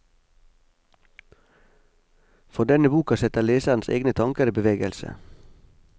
For denne boka setter leserens egne tanker i bevegelse.